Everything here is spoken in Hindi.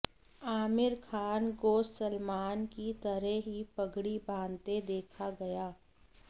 आमिर खान को सलमान की तरह ही पगड़ी बांधते देखा गया